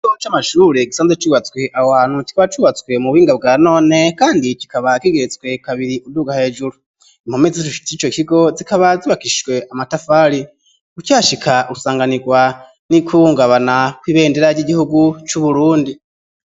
U muco amashure gisanze cubatswi awhantu kikaba cubatswe mu bubinga bwa none, kandi kikaba kigeretswe kabiri unduga hejuru impome z'ishishite ico kigo zikaba zibakishwe amatafare gutashika usanganirwa n'ikbungabana ko ibendera ry'igihugu c'uburundi.